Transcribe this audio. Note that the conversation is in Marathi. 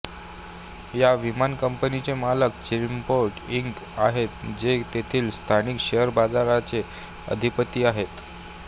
या विमान कंपनीचे मालक चिमिंपोर्ट इंक आहेत की जे तेथील स्थानिक शेअर बाजाराचे अधिपति आहेत